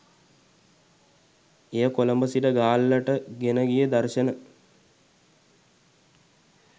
එය කොළඹ සිට ගාල්ලට ගෙනගිය දර්ශන